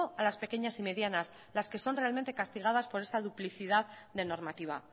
a las pequeñas y medianas las que son realmente castigadas por esta duplicidad de normativa